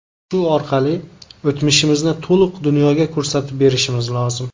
Shu orqali o‘tmishimizni to‘liq dunyoga ko‘rsatib berishimiz lozim.